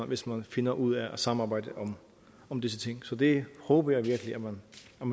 hvis man finder ud af at samarbejde om disse ting så det håber jeg virkelig man